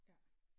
Ja